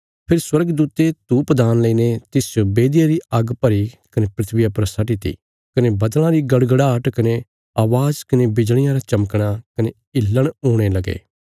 फेरी स्वर्गदूते धूपदान लईने तिसच बेदिया री आग्ग भरी कने धरतिया पर सट्टीती कने बद्दल़ां री गड़गड़ाहट कने अवाज़ कने बिजलियां रा चमकणा कने हिल्लण हुणे लगे